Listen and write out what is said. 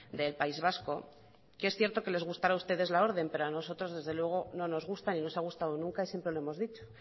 del país vasco que es cierto que les gustará a ustedes la orden pero a nosotros desde luego no nos gusta ni nos ha gustado nunca y siempre lo hemos dicho